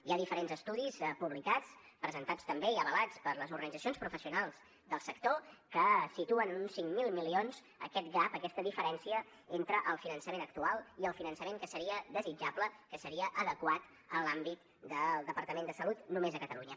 hi ha diferents estudis publicats presentats també i avalats per les organitzacions professionals del sector que situen en uns cinc mil milions aquest gap aquesta diferència entre el finançament actual i el finançament que seria desitjable que seria adequat en l’àmbit del departament de salut només a catalunya